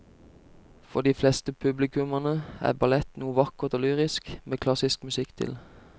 For de fleste publikummere er ballett noe vakkert og lyrisk med klassisk musikk til.